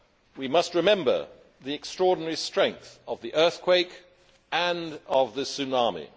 We must remember the extraordinary strength of the earthquake and of the tsunami.